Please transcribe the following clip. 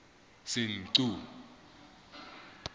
senqu